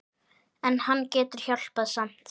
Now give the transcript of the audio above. En hann getur hjálpað samt.